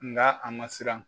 Nka a ma siran.